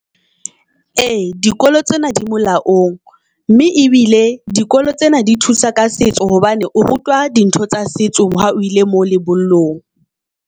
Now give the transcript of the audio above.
Ee, dikolo tsena di molaong mme ebile dikolo tsena di thusa ka setso hobane o rutwa di ntho tsa setso, hao ile mo lebollong.